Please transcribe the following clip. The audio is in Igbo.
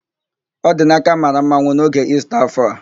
Ọdinaka mara mmanwụ n'oge Ista áfọ̀ a.